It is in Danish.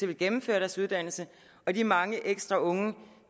ville gennemføre deres uddannelse og de mange ekstra unge